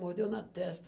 Mordeu na testa.